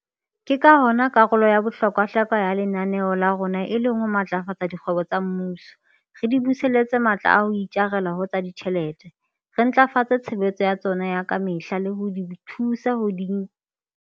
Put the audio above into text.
Ke ka hona karolo ya bohlokwahlokwa ya lenaneo la rona e leng ho matlafatsa dikgwebo tsa mmuso, re di buseletsa matla a ho itjara ho tsa ditjhelete, re ntlafatsa tshebetso ya tsona ya ka mehla le ho di thusa hore di nke tema ya bohlokwa le e molemo haholwanyane moruong.